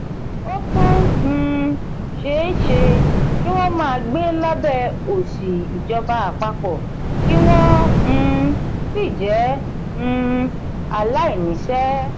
ó tún um ṣe é ṣe kí wọ́n máa gbé lábẹ́ òṣì ìjọba àpapọ̀ kí wọ́n um sì jẹ́ um aláìníṣẹ́.